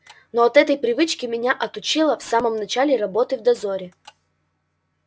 но от этой привычки меня отучила в самом начале работы в дозоре